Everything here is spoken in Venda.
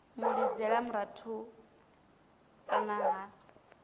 mu lidzela murahu kana vha